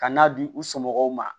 Ka n'a di u somɔgɔw ma